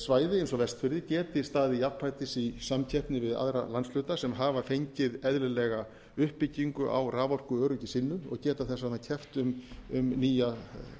svæði eins og vestfirðir geti staðið jafnfætis í samkeppni við aðra landshluta sem hafa fengið eðlilega uppbyggingu á raforkuöryggi sínu og geta þess vegna keppt um nýja